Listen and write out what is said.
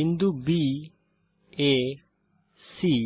বিন্দু baসি